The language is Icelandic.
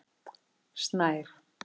Snær